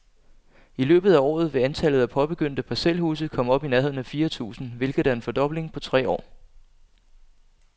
I løbet af året vil antallet af påbegyndte parcelhuse komme op i nærheden af fire tusind, hvilket er en fordobling på tre år.